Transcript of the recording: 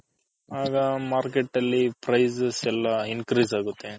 ಆಗ Market ಅಲ್ಲಿ Prices ಎಲ್ಲಾ Increase ಅಗುತೆ.